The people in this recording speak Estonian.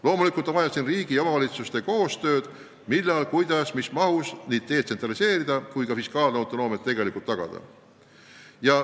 Loomulikult on vaja riigi ja omavalitsuste koostööd otsustamisel, millal, kuidas, mis mahus detsentraliseerida ja tegelik fiskaalautonoomia tagada.